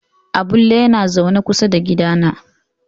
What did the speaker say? Abulle na zaune kusa da gidana.